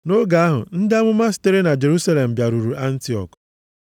Nʼoge ahụ, ndị amụma sitere na Jerusalem bịaruru Antiọk.